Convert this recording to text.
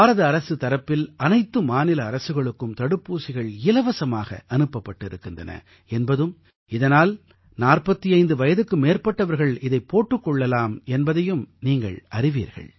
பாரத அரசு தரப்பில் அனைத்து மாநில அரசுகளுக்கும் தடுப்பூசிகள் இலவசமாக அனுப்பப் பட்டிருக்கின்றன என்பதும் இதனால் 45 வயதுக்கு மேற்பட்டவர்கள் இதைப் போட்டுக் கொள்ளலாம் என்பதையும் நீங்கள் அறிவீர்கள்